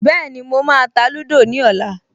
Bẹ́ẹ̀ni, mo máa ta lúdò ní ọ̀la